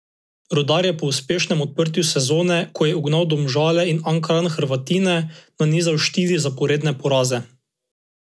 Rudar je po uspešnem odprtju sezone, ko je ugnal Domžale in Ankaran Hrvatine, nanizal štiri zaporedne poraze.